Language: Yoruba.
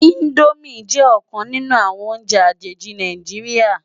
Indómi jè okan ninù áwòn óùnjè ájóji Náijiriá